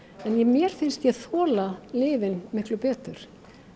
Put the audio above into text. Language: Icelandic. mér finnst ég þola lyfin miklu betur